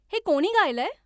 हे कोणी गायलंय